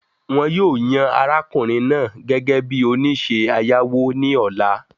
The man will be elected as the loan officer tomorrow